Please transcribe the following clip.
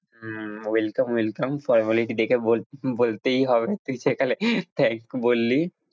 Welcome welcome formality দেখে বলতেই হবে তুই যেখানে thanks বললি।